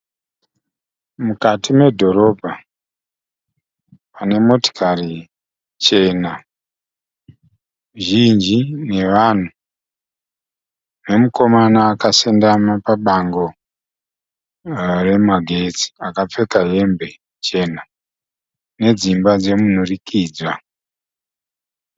Mukati medhorobha pane motokari chena zhinji nevanhu nemukomana akasendama pabango remagetsi akapfeka hembe chena. Dzimba dzomudurikidzwa.